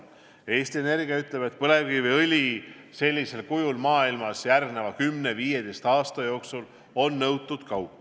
Eesti Energia ütleb, et põlevkiviõli sellisel kujul on maailmas järgmise 10–15 aasta jooksul nõutud kaup.